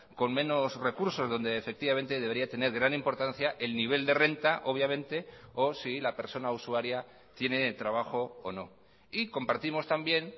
con menos recursos donde efectivamente debería tener gran importancia el nivel de renta obviamente o si la persona usuaria tiene trabajo o no y compartimos también